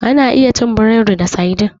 Ana iya cin burodi da saidin.